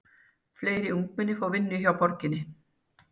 Fleiri ungmenni fá vinnu hjá borginni